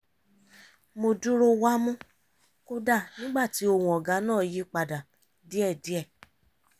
mo dúró wámú kódà nígbà tí ohùn ọ̀gá náà yí padà díẹ̀díẹ̀